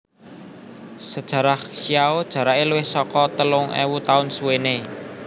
Sejarah Xiao jarake luwih saka telung ewu taun suwene